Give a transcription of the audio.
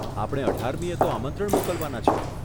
આપણે અઢારમીએ તો આમંત્રણ મોકલવાના છીએ.